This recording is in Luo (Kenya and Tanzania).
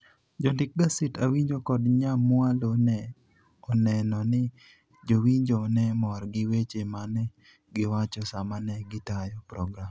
Jondik gaset Awinja kod nyamwalo ne oneno ni jowinjo ne mor gi weche ma ne giwacho sama ne gitayo program.